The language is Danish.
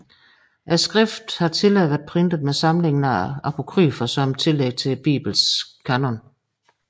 Skriftet har tidligere været printet med samlingen af apokryfer som tillæg til Biblens kanon